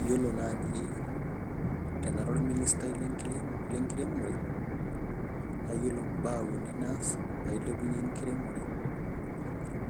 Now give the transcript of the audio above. Yiolo naji tenara orministai lenkiremore naa yiolo mbaa uni naas pailepunyie enkiremore